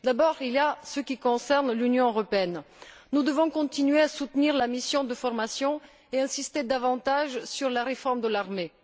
D'abord, il y a ce qui concerne l'Union européenne. Nous devons continuer à soutenir la mission de formation et insister davantage sur la réforme de l'armée.